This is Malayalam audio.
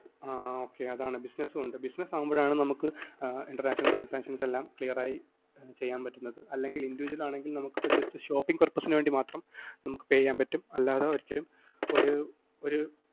ആഹ് okay അതാണ് business മുണ്ട് business ആകുമ്പോഴാണ് നമുക്ക് international transactions എല്ലാം നമുക്ക് clear ആയി ചെയ്യാന്‍ പറ്റുന്നത്. അല്ലെങ്കില്‍ individual ആണെങ്കില്‍ നമുക്ക് just shopping purpose നു വേണ്ടി മാത്രം നമുക്ക് pay ചെയ്യാന്‍പറ്റും. അല്ലാതെ ഒരിക്കലും ഒരു ഒരു